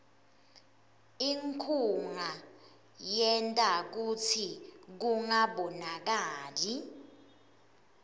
inkhunga yenta kutsi kungabonakali